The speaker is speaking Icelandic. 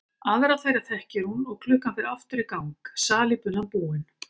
Aðra þeirra þekkir hún og klukkan fer aftur í gang, salíbunan búin.